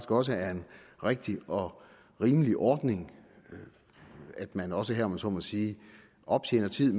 også er en rigtig og rimelig ordning at man også her om jeg så må sige optjener tid